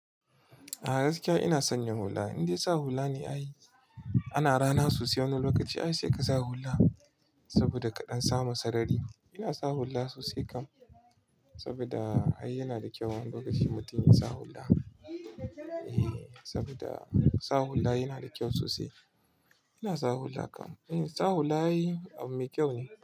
A gaskiya ina son yin hula. Indai sa hula ne ai. Ana rana sosai wani lokaci ai sai ka sa hula. Saboda kaɗan samu sarari. Ina sa hula sosai kam. Saboda ai yana da kyau wani lokacin mutum ya sa hula. Ehh, saboda sa hula yana da kyau sosai. Ina sa hula kam. Ehh, sa hula abun mai kyau ne.